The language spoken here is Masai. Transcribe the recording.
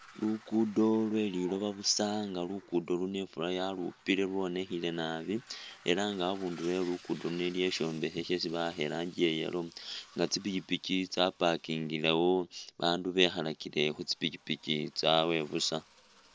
Lukudo nga lweliloba busa nga lukudo luno ifula yalupile lwonekhele naabi ela nga abundulo welukudo ano aliwo ishombekha isi shesi bawakha iranji iya yellow nga tsipikhipikhi tsa parking lewo abandu bekhalakile khutsipikhipikhi tsawe busa.